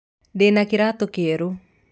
Ndĩna kĩratũ kĩerũ.